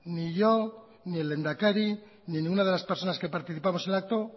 ni yo ni el lehendakari ni ninguna de las personas que participamos en el acto